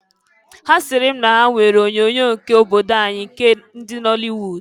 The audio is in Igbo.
Ha siri m na ha nwere onyoonyo nke obodo anyị nke ndị nọlịwud.